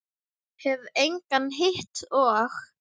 Hef engan hitt og.